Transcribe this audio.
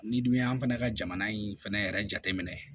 N'i dun y'an fɛnɛ ka jamana in fɛnɛ yɛrɛ jateminɛ